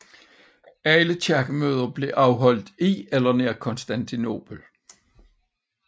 Alle kirkemøder blev holdt i eller nær Konstantinopel